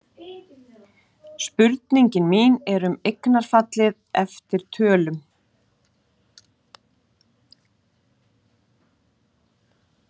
Spurningin mín er um eignarfallið eftir tölum.